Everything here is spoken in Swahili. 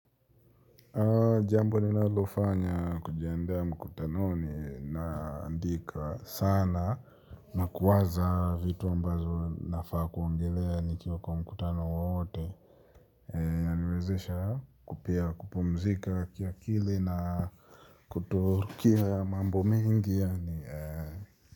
Jambo ninalofanya kujiandaa mkutanoni ninaandika sana na kuwaza vitu ambazo nafaa kuongelea kwa mkutano wote. Eee yaniwezesha pia kupumzika kiakili na kutokea mambo mengi yaani eee.